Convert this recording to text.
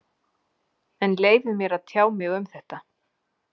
En leyfið mér að tjá mig um þetta.